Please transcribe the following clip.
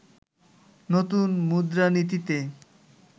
নতুন মুদ্রানীতিতে